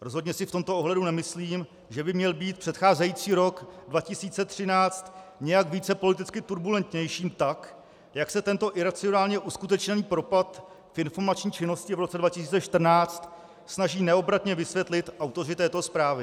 Rozhodně si v tomto ohledu nemyslím, že by měl být předcházející rok 2013 nějak více politicky turbulentnější, tak jak se tento iracionálně uskutečněný propad v informační činnosti v roce 2014 snaží neobratně vysvětlit autoři této zprávy.